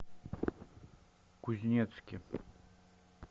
кузнецке